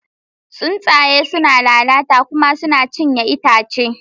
Tsuntsaye suna lalata kuma suna cinye itace.